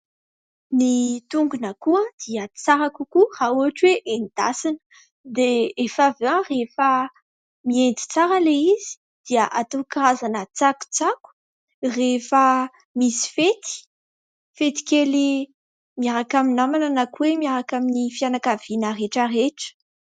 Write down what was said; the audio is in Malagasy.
Ny tongon'akoho dia tsara kokoa raha ohatra hoe endasina dia efa avy eo rehefa miendy tsara ilay izy dia atao karazan-tsakotsako rehefa misy fety. Fety kely miaraka amin'ny namana na koa hoe miaraka amin'ny fianakaviana rehetrarehetra.